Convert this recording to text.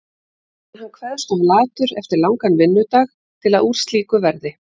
En hann kveðst of latur eftir langan vinnudag til að úr slíku verði.